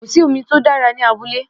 Kò sí omi tó dára ní abúlé